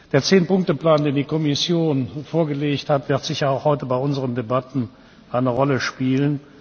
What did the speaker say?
Der Zehn Punkte Plan, den die Kommission vorgelegt hat, wird sicher auch heute bei unseren Debatten eine Rolle spielen.